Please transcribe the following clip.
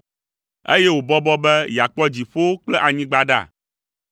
eye wòbɔbɔ be yeakpɔ dziƒowo kple anyigba ɖa?